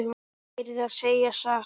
Ég yrði að segja satt.